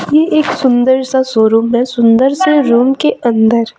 ये एक सुंदर सा शोरूम में सुंदर से रूम के अंदर--